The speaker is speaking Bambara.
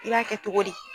I b'a kɛ cogo di